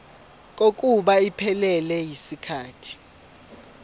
kokuba iphelele yisikhathi